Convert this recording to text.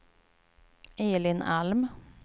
Elin Alm